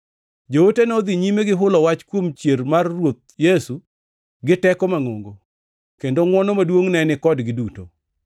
Joote nodhi nyime gi hulo wach kuom chier mar Ruoth Yesu gi teko mangʼongo, kendo ngʼwono maduongʼ ne ni kodgi duto.